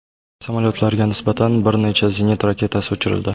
Samolyotlarga nisbatan bir necha zenit raketasi uchirildi.